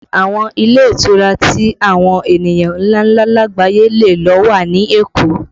Àwọn ilé ìtura tí àwọn ènìyàn ńláńlá lagbaye lè lo wà ní Èkó